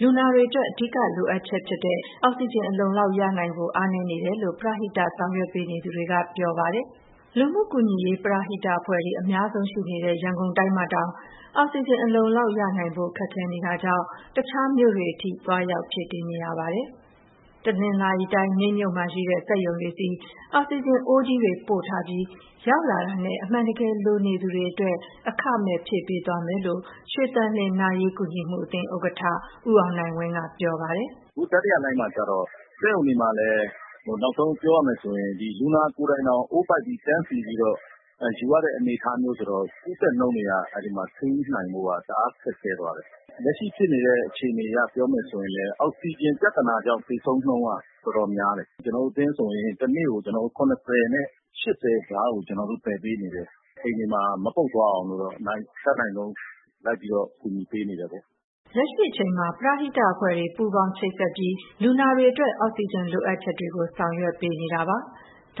လူနာတွေအတွက် အဓိကလိုအပ်ချက်ဖြစ်တဲ့ အောက်စီဂျင် အလုံအလောက်ရနိုင်ဖို့ အားနည်းနေတယ်လို့ ပရဟိတဆောင်ရွက်ပေးနေသူတွေက ပြောပါတယ်။ လူမှုကူညီရေး ပရဟိတအဖွဲ့တွေ အများဆုံးရှိနေတဲ့ ရန်ကုန်တိုင်းမှာတောင် အောက်စီဂျင်အလုံအလောက်ရနိုင်ဖို့ ခက်ခဲနေလို့ တခြားမြို့တွေအထိ သွားရောက်ဖြည့်တင်းနေရပါတယ်။ တနင်္သာရီတိုင်း၊ မြိတ်မြို့မှာရှိတဲ့ စက်ရုံတွေဆီ အောက်စီဂျင်အိုးကြီးတွေပို့ထားပြီး ရောက်လာတာနဲ့ အမှန်တကယ် လိုနေသူတွေအတွက် အခမဲ့ဖြည့်ပေးသွားမယ်လို့ ရွှေသန်လျင် နာရေးကူညီမှုအသင်းဥက္ကဋ္ဌ ဦးအောင်နိုင်ဝင်းက ပြောပါတယ်။ "အခု တတိယလှိုင်းမှာကျတော့ စက်ရုံတွေမှာလည်း နောက်ဆုံးပြောရမယ်ဆိုရင် ဒီလူနာကိုယ်တိုင်တောင် အိုးပိုက်ပြီး တန်းစီပြီးတော့ ယူရတဲ့အနေအထားမျိုးဆိုတော့ ကူးစက်နှုန်းတွေက အဲဒီမှာထိန်းနိုင်ဖို့က တအားခက်ခဲသွားတယ်။ လက်ရှိဖြစ်နေတဲ့ အခြေအနေအရ ပြောမယ်ဆိုရင်လည်း အောက်ဆီဂျင်ပြဿနာကြောင့် သေဆုံးနှုန်းက တော်တော်များတယ်။ ကျနော်တို့အသင်းဆိုရင် တနေ့ကို အလောင်း ၇၀ နဲ့ ၈၀ ကြားကို သယ်ပေးနေတယ်။ အိမ်တွေမှာ မပုပ်သွားအောင်လို့တော့ အတတ်နိုင်ဆုံး လိုက်ပြီးတော့ ကူညီပေးနေတယ်ပေါ့။" လက်ရှိအချိန်မှာ ပရဟိတအဖွဲ့တွေ ပူးပေါင်းချိတ်ဆက်ပြီး လူနာတွေအတွက် အောက်ဆီဂျင်လိုအပ်ချက်ကို ဆောင်ရွက်ပေးနေတာပါ။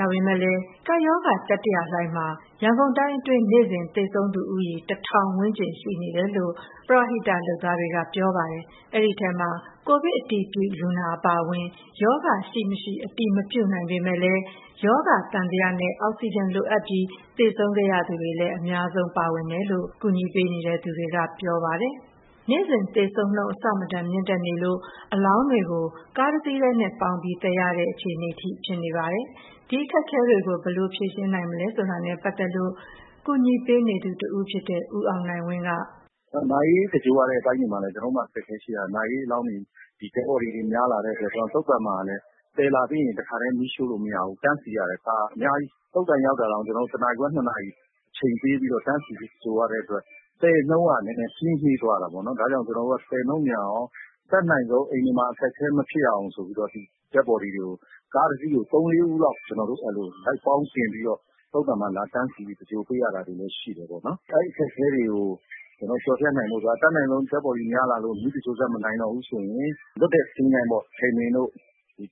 ဒါပေမယ့်လည်း ကပ်ရောဂါတတိယလှိုင်းမှာ ရန်ကုန်တိုင်းအတွင်း နေ့စဉ်သေဆုံးသူဦးရေ ၁,၀၀၀ ဝန်းကျင်မှာ ရှိနေတယ်လို့ ပရဟိတလုပ်သားတွေကပြောပါတယ်။ ဒီထဲမှာ ကိုဗစ်အတည်ပြုလူနာ အပါအဝင် ရောဂါရှိ၊ မရှိအတည်မပြုနိုင်ပေမယ့်လည်း ရောဂါသံသယနဲ့ အောက်ဆီဂျင်လိုအပ်ပြီး သေဆုံးခဲ့ရသူတွေလည်း အများဆုံးပါဝင်တယ်လို့ ကူညီပေးနေသူတွေက ပြောပါတယ်။ နေ့စဉ်သေဆုံးနှုန်း အဆမတန်မြင့်တက်နေလို့ အလောင်းတွေကို ကားတစီးတည်းနဲ့ ပေါင်းပြီးသယ်နေရတဲ့ အခြေအနေထိဖြစ်နေပါတယ်။ ဒီအခက်ခဲတွေကို ဘယ်လိုဖြေရှင်းနိုင်မလဲဆိုတာနဲ့ ပတ်သက်လို့ ကူညီပေးနေသူတဦးဖြစ်တဲ့ ဦးအောင်နိုင်ဝင်းက... "နာရေးသင်္ဂြိုလ်ရတဲ့အပိုင်းတွေမှာလည်း ကျနော်တို့မှာအခက်အခဲရှိတာက Dead Body တွေများလာတဲ့အတွက် သုသာန်မှာလည်း သယ်လာပြီးရင် တခါတည်းမီးရှို့လို့မရဘူး။ တန်းစီရတာ ကားကအများကြီး။ သုသာန်ရောက်တာတောင် ကျနော်တို့ ၁ နာရီခွဲ ၂ နာရီ အချိန်ပေးပြီးတော့ တန်းစီပြီး သင်္ဂြိုလ်ရတဲ့အတွက် သယ်နှုန်းက နှေးနှေးသွားတာပေါ့နော်။ ဒါကြောင့်မို့ ကျနော်တို့က သယ်နှုန်းမြန်အောင် အတတ်နိုင်ဆုံး အိမ်တွေမှာအခက်အခဲမဖြစ်အောင် Dead Body ကို ကားတစီးကို ၃၊ ၄ ဦးလောက် လိုက်ပေါင်းတင်ပြီးတော့ သုသာန်မှာလာတန်းစီပြီး သင်္ဂြိုလ်ပေးရတာလည်း ရှိတယ်ပေါ့နော်။ အဲဒီအခက်အခဲတွေကို ကျနော်တို့ကျော်ဖြတ်နိုင်ဖို့အတွက် အတတ်နိုင်ဆုံး Dead Body များလာလို့ မီးသင်္ဂြိုလ်စက် မနိုင်တော့ဘူးဆိုရင် လွတ်တဲ့သင်္ချိုင်းပေါ့ - ထိန်ပင်၊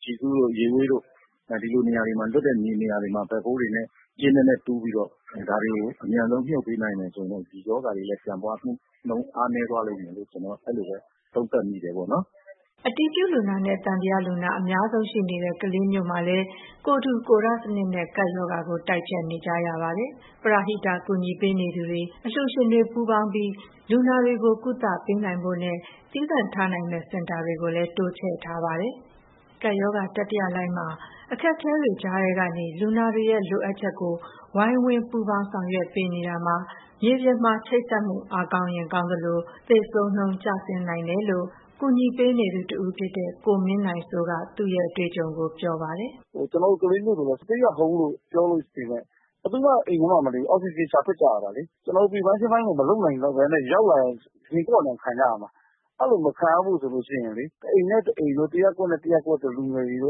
ကျီစု၊ ရေဝေးတို့က လွတ်တဲ့မြေနေရာတွေမှာ Backhoe တွေနဲ့ ကျင်းနက်နက်တူးပြီးတော့ ဒါတွေကို အမြန်ဆုံးမြှုပ်ပေးနိုင်မယ်ဆိုရင်တော့ ဒီရောဂါတွေလည်း ပြန့်ပွားမှုနှုန်း ကျနော်တော့ အဲလိုပဲသုံးသပ်မိတယ်ပေါ့နော်။" အတည်ပြုလူနာနဲ့ သံသယလူနာ အများဆုံးရှိနေတဲ့ ကလေးမြို့မှာလည်း ကိုယ်ထူကိုယ်ထစနစ်နဲ့ ကပ်ရောဂါကို တိုက်ဖျက်နေကြပါတယ်။ ပရဟိတ ကူညီပေးနေသူတွေ၊ အလှူရှင်တွေပူးပေါင်းပြီး လူနာတွေကို ကုသပေးနိုင်ဖို့နဲ့ သီးသန့်ထားနိုင်မယ့် စင်တာတွေကိုလည်း တိုးချဲ့ထားပါတယ်။ ကပ်ရောဂါတတိယလှိုင်းမှာ အခက်အခဲတွေကြားထဲကနေ လူနာတွေရဲ့လိုအပ်ချက်ကို ဝိုင်းဝန်းပူးပေါင်းပြီး ဆောင်ရွက်ပေးနေတာမှာ မြေပြင်မှာ ချိတ်ဆက်မှု အားကောင်းရင် ကောင်းသလို သေဆုံးနှုန်းလည်းကျနိုင်တယ်လို့ ကူညီပေးနေသူတဦးဖြစ်တဲ့ ကိုမင်းနိုင်စိုးက သူ့ရဲ့အတွေ့အကြုံကိုပြောပါတယ်။ "ကျနော်တို့ ကလေးမြို့ဆိုရင် Stay at Home လို့ပြောပေမယ့် ဘယ်သူမှ အိမ်ထဲမှာမနေဘူး၊ အောက်ဆီဂျင်ရှာ ထွက်ကြရတာလေ။ ကျနော်တို့ Prevention ပိုင်းကို မလုပ်နိုင်တော့ဘဲနဲ့ ရောက်လာရင် ရင်ကော့နေအောင် ခံကြရမှာ။ အဲဒီလို မခံရအောင်ဆိုရင်လေ တအိမ်နဲ့တအိမ်၊ တရပ်ကွက်နဲ့ တရပ်ကွက်က လူငယ်တွေ စု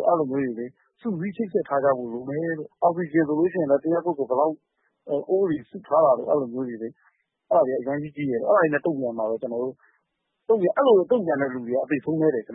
စည်းချိတ်ဆက်ထားကြဖို့လိုမယ်။ အောက်ဆီဂျင်ဆိုလည်း တရပ်ကွက်ကို ဘယ်လောက်ဆိုပြီး စုထားတာမျိုး။ အဲဒါတွေက အရမ်းအရေးကြီးတယ်။ အဲဒါတွေနဲ့ တုန့်ပြန်နိုင်တဲ့သူက ကျနော်တို့ကလေးမြို့မှာ အသေဆုံးနည်းတယ်။ အ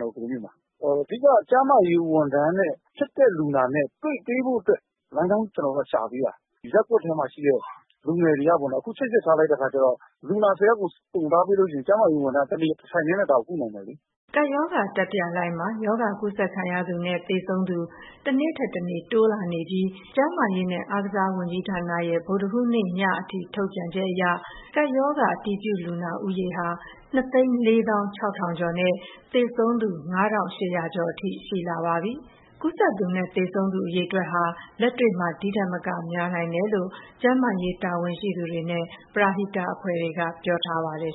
ဓိကက ကျန်းမာရေးဝန်ထမ်းနဲ့ ဖြစ်တဲ့လူနာနဲ့ တွေ့ပေးဖို့အတွက် လမ်းကြောင်းရှာပေးတာ။ ဒီရပ်ကွက်ထဲမှာရှိတဲ့ လူငယ်တွေက ချိတ်ဆက်ထားလိုက်တဲ့အခါကျတော့ လူနာ ၁၀ ယောက်ကို ခေါ်ထားပေးလို့ရှိရင် ကျန်းမာရေးဝန်ထမ်းက တထိုင်တည်းနဲ့ ဒါကိုကုနိုင်တယ်လေ။" ကပ်ရောဂါတတိယလှိုင်းမှာ ရောဂါကူးစက်ခံရသူနဲ့ သေဆုံးသူ တနေ့ထက်တနေ့ တိုးလာနေပြီး ကျန်းမာရေးနဲ့ အားကစားဝန်ကြီးဌာနရဲ့ ဗုဒ္ဓဟူးညအထိ ထုတ်ပြန်ချက်အရ ကပ်ရောဂါ အတည်ပြုလူနာဦးရေဟာ ၂၄၆,၀၀၀ ကျော်နဲ့ သေဆုံးသူ ၅,၈၀၀ ကျော်အထိ ရှိလာပါပြီ။ ကူးစက်သူနဲ့ သေဆုံးသူအရေအတွက်ဟာ လက်တွေ့မှာ ဒီထက်မကများနိုင်တယ်လို့ ကျန်းမာရေးတာဝန်ရှိသူတွေနဲ့ ပရဟိတအဖွဲ့တွေက ပြောထားပါတယ်